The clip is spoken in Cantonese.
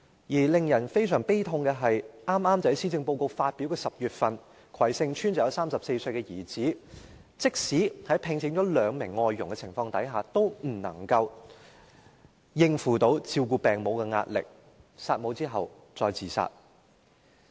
而令人感到非常悲痛的是，剛巧在施政報告發表的10月，葵盛邨便有一名34歲的兒子，即使聘請了兩名外傭，亦無法應付照顧病母的壓力，弒母後自殺。